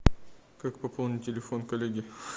как пополнить телефон коллеги